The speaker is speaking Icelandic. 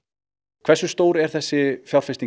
hversu stór er þessi fjárfesting